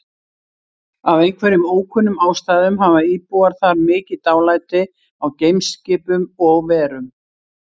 Af einhverjum ókunnum ástæðum hafa íbúar þar mikið dálæti á geimskipum og-verum.